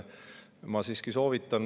Ma siiski soovitan …